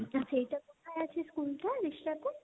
তা সেইটা কোথায় আছে স্কুলটা